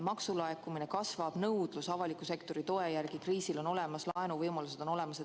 Maksulaekumine kasvab, nõudlus avaliku sektori toe järele on kriisi korral olemas, laenuvõimalused on olemas.